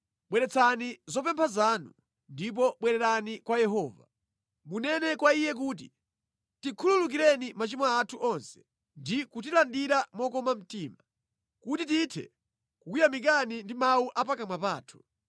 Bweretsani zopempha zanu ndipo bwererani kwa Yehova. Munene kwa Iye kuti, “Tikhululukireni machimo athu onse ndi kutilandira mokoma mtima, kuti tithe kukuyamikani ndi mawu a pakamwa pathu.